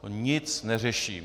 To nic neřeší.